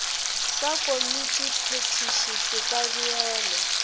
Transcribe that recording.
sa komitiphethiši se ka beelwa